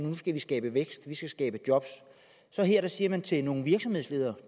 nu skal vi skabe vækst vi skal skabe job her siger man så til nogle virksomhedsledere